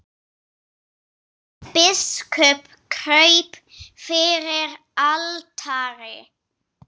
Biskup kraup fyrir altari.